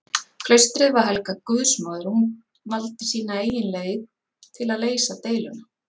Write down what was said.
Klaustrið var helgað guðsmóður og hún valdi sína eigin leið til að leysa deiluna.